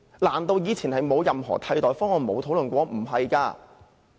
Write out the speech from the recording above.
難道以前不曾討論任何替代方案？